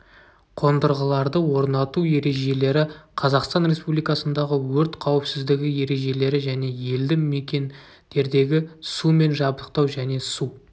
қондырғыларды орнату ережелері қазақстан республикасындағы өрт қауіпсіздігі ережелері және елді мекендердегі сумен жабдықтау және су